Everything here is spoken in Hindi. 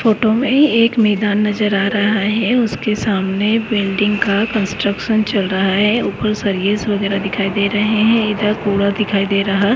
फोटो में एक मेदान नजर आ रहा है। उसके सामने बिल्डिं का कन्स्ट्रक्शन्स चल रहा है। ऊपर सरियस वगेरा दिखाई दे रहा है इधर कूड़ा दिखाई दे रहा--